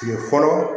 Kile fɔlɔ